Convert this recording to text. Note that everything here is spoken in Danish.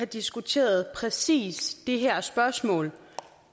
har diskuteret præcis det her spørgsmål